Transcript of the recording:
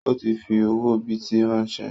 Ó ti fi owó bìtì ránsẹ́